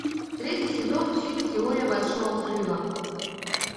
третий сезон фильм теория большого взрыва